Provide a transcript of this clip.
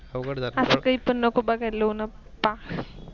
अस काही पन बघाले लाऊन बापा.